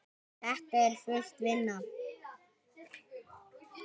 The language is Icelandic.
Þetta er full vinna!